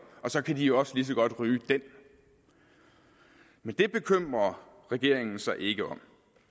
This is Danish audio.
og så kan de også lige så godt ryge dem men det bekymrer regeringen sig ikke om